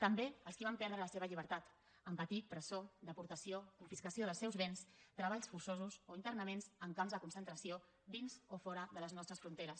també els qui van perdre la seva llibertat en patir presó deportació confiscació dels seus béns treballs forçosos o internaments en camps de concentració dins o fora de les nostres fronteres